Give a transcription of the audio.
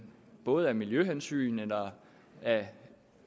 både af miljøhensyn eller af